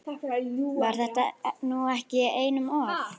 Var þetta nú ekki einum of?